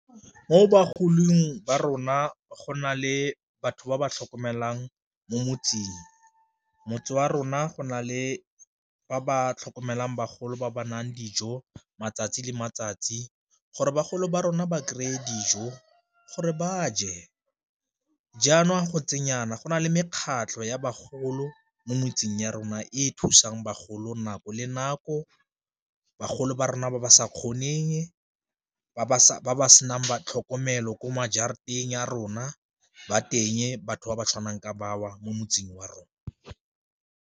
Mo bagolong ba rona go na le batho ba ba tlhokomelang mo motseng, motse wa rona go na le ba ba tlhokomelang bagolo ba ba dijo matsatsi le matsatsi, gore bagolo ba rona ba kry-e dijo gore ba je jaanong ga go ntse jana go na le mekgatlho ya bagolo mo motseng ya rona e e thusang bagolo nako le nako bagolo ba rona ba ba sa kgoneng, ba ba ba senang tlhokomelo ko ya rona ba teng batho ba ba tshwanang ka ba o mo motseng wa rona.